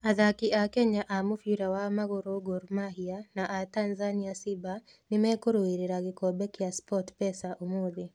Athaki a Kenya a mũbira wa magũrũ Gor Mahia, na a Tanzania Simba nĩ mekũrũĩrĩra gĩkombe kĩa SportPesa ũmũthĩ